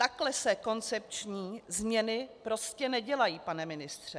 Takhle se koncepční změny prostě nedělají, pane ministře.